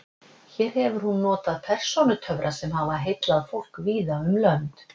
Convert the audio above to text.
Hér hefur hún notið persónutöfra sem hafa heillað fólk víða um lönd.